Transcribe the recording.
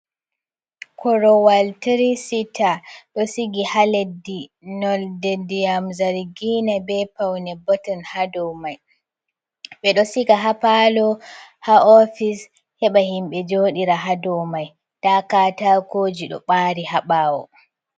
Korowal tiri sita ɗo sigi ha leddi nolde ndyam zargina be paune bottmun ha domai, ɓeɗo siga ha palo ha ofis, heɓa himɓe joɗira ha domai nda katakoji ɗo ɓari haɓawo.